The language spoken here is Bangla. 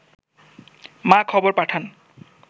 মা খবর পাঠান